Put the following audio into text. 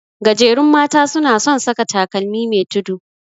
Gajerun mata suna son saka takalmi me tudu.